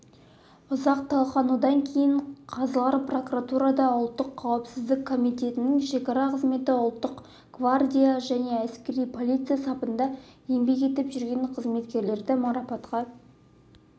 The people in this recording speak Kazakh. ұзақ талқылаудан кейін қазылар прокуратура ұлттық қауіпсіздік комитетінің шекара қызметі ұлттық гвардия және әскери полиция сапында еңбек етіп жүрген қызметкерді марапатқа